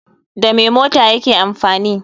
Da me mota yake amfani